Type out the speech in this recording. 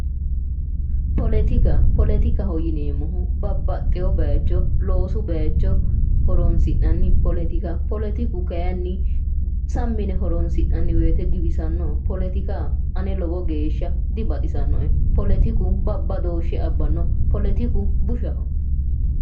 Poletika. Poletikaho yineemohu babbaxewo bayicho loosu bayicho horonisi'nani poletiku kayinni sammi yine horonisi'nani woyite giwisanno poletika ane lowo geesha dibaxisanoe poletiku babbadooshe abbanno poletiku bushaho